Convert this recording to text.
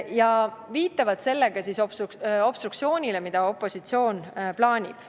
Nad viitavad sellega obstruktsioonile, mida opositsioon plaanib.